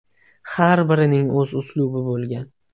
Har birining o‘z uslubi bo‘lgan.